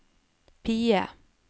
PIE